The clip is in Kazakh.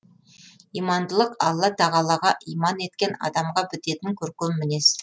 имандылық алла тағалаға иман еткен адамға бітетін көркем мінез